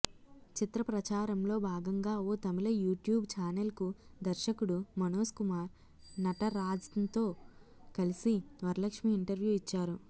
చిత్ర ప్రచారంలో భాగంగా ఓ తమిళ యూట్యూబ్ ఛానెల్కు దర్శకుడు మనోజ్కుమార్ నటరాజన్తో కలిసి వరలక్ష్మి ఇంటర్వ్యూ ఇచ్చారు